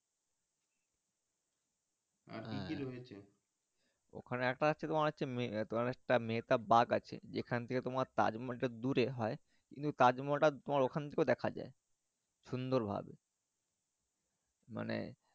আর হ্যাঁ কি কি রয়েছে ওখানে একটা তোমার একটা মেটা বাগ আছে যেখান থেকে তোমার তাজ মহল টা দুরে হয় কিন্তু তাজমজহল টা তোমার ওখান থেকে দেখা যাই সুন্দর ভাবে মানে।